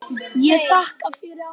Ég þakka fyrir allt gott.